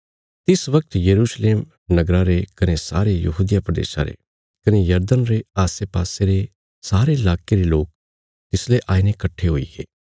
तिस बगत यरूशलेम नगरा रे कने सारे यहूदिया प्रदेशा रे कने यरदन रे आसेपासे रे सारे इलाके रे लोक तिसले आईने कट्ठे हुईगे